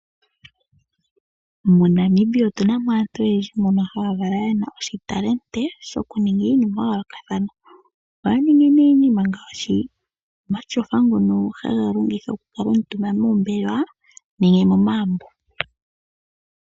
MoNamibia otu na mo aantu oyendji mbono ye na oshitalente shoku ninga iinima ya yoolokathana. Ohaa ningi ne iinima, ngaashi omatyofa ngono haga longithwa oku kala omutumba moombelewa nenge momagumbo.